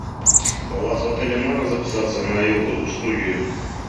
у вас в отеле можно записаться на йогу студию